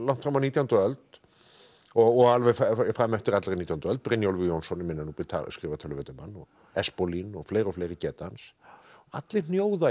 fram á nítjándu öld og alveg fram eftir allri nítjándu öld Brynjólfur Jónsson í minna Núpi skrifar töluvert um hann og Espólín og fleiri og fleiri geta hans allir hnjóða í